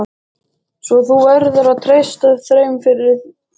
Svo þú verður að treysta þeim fyrir.